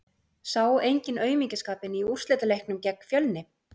Sá enginn aumingjaskapinn í úrslitaleiknum gegn Fjölni?